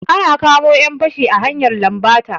An kamo 'yan fashi a hanyar lambata.